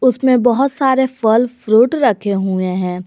उसमें बहोत सारे फल फ्रूट रखे हुए हैं।